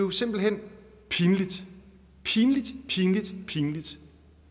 er simpelt hen pinligt pinligt pinligt pinligt